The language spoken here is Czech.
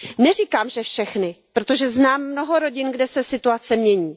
Neříkám, že všichni rodiče, protože znám mnoho rodin, kde se situace mění.